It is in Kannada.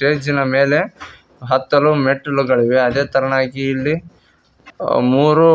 ಬ್ರಿಡ್ಜ್ ನ ಮೇಲೆ ಹತ್ತಲು ಮೆಟ್ಟಿಲುಗಳಿವೆ ಅದೇ ತರನಾಗಿ ಇಲ್ಲಿ ಅ ಮೂರು